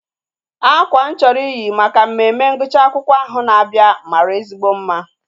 Akwa mụ chọrọ iyi maka mmemme ngwụcha akwụkwọ ahụ na-abịa mara ezigbo mma